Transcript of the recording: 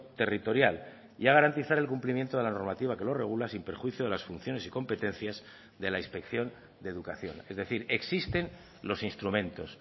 territorial y a garantizar el cumplimiento de la normativa que lo regula sin perjuicio de las funciones y competencias de la inspección de educación es decir existen los instrumentos